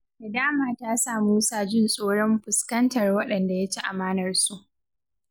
Nadama ta sa Musa jin tsoron fuskantar waɗanda ya ci amanarsu.